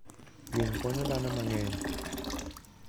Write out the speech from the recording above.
winy konyo dhano mang'eny.